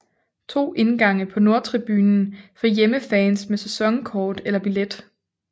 To indgange på nordtribunen for hjemmefans med sæsonkort eller billet